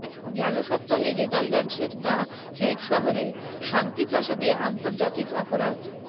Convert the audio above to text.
গেল সপ্তাহে নেদারল্যান্ডসের দ্য হেগ শহরে শান্তি প্রাসাদে আন্তর্জাতিক অপরাধ